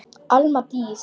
Alma Dís.